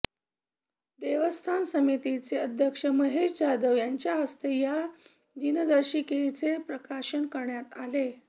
देवस्थान समितीचे अध्यक्ष महेश जाधव यांच्या हस्ते या दिनदर्शीकेचे प्रकाशन करण्यात आले